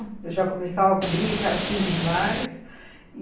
Eu já começava com briga, que era filho demais.